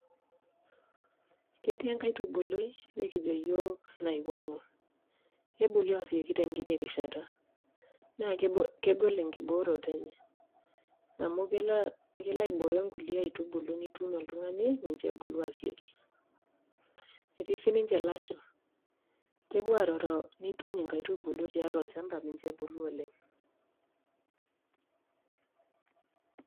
ketii enkaitubului nikijo iyiok naing;u kebulu asioki tekiti rishata , naa kegol ekibooroto enye amu kelo aiboyo kulie aitubulu tolchamba meisho ebulu oleng', netii siiniche ilasho nituny ingai tubulu misho ebulu oleng'.